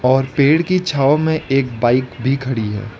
और पेड़ की छांव में एक बाइक भी खड़ी है।